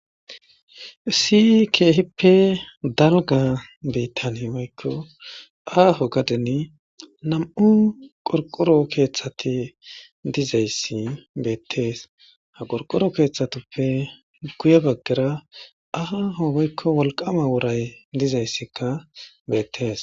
Issi keehippe dalgga biittan woykko aaho gaden nam''u qorqoro keeththati dizayssi beettes. ha qorqoro keeththatuppe guye baggara aaho woykko wolqaama woray dizayssika beettes.